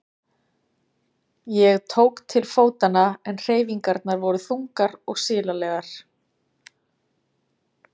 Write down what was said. Ég tók til fótanna en hreyfingarnar voru þungar og silalegar.